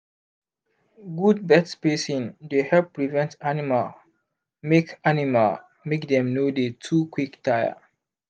good birth spacing dey help prevent animal make animal make dem no dey too quick tire